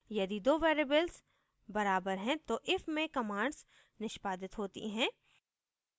यदि दो variables बराबर हैं तो if में commands निष्पादित होती हैं